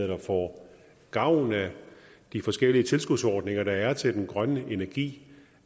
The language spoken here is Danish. der får gavn af de forskellige tilskudsordninger der er til den grønne energi